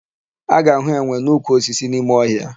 A ga-ahụ enwe n'ukwu osisi n'ime ọhịa.